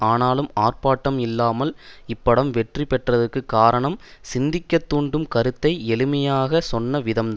ஆனாலும் ஆர்ப்பாட்டம் இல்லாமல் இப்படம் வெற்றி பெற்றதற்கு காரணம் சிந்திக்க தூண்டும் கருத்தை எளிமையாக சொன்ன விதம்தான்